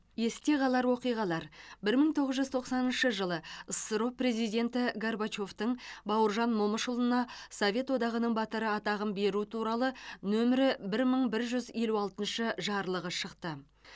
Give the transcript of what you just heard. есте қалар оқиғалар бір мың тоғыз жүз тоқсаныншы жылы ссро президенті горбачевтың бауыржан момышұлына совет одағының батыры атағын беру туралы нөмірі бір мың бір жүз елу алтыншы жарлығы шықты